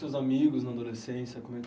Seus amigos na adolescência, como é que